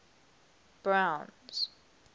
browns